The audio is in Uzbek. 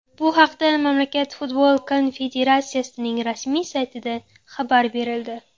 Bu haqda mamlakat futbol konfederatsiyasining rasmiy saytida xabar berildi .